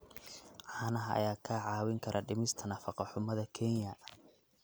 Caanaha ayaa kaa caawin kara dhimista nafaqo-xumada Kenya.